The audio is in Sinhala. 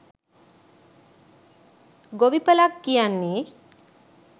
ගොවිපලක් කියන්නෙ